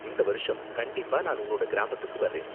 இந்த வருஷம் கண்டிப்பா நான் உன்னோட கிராமத்துக்கு வர்றேன்.